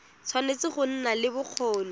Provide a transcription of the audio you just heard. tshwanetse go nna le bokgoni